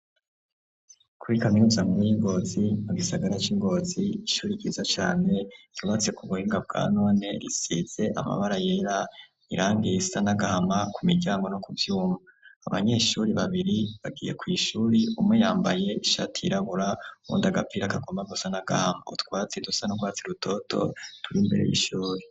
Kuri kaminuza nkuru y'ingozi mu gisagara ca Ngozi ishure ryiza cane yubatse ku buhinga bwa none, risize amabara yera irangi risa nagahama ku miryango no ku vyuma, abanyeshure babiri bagiye kw'ishure umwe yambaye ishati yirabura uwundi agapira kagoma gusa nagahama, utwatsi dusa nurwatsi rutoto turi imbere y'ishure.